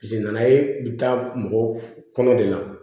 Jeli nana ye bi taa mɔgɔ kɔnɔ de la